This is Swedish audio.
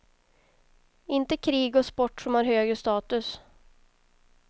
Inte krig och sport som har högre status.